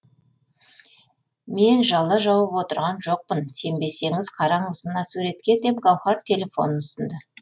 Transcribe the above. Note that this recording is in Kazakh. мен жала жауып отырған жоқпын сенбесеңіз қараңыз мына суретке деп гауһар телефонын ұсынды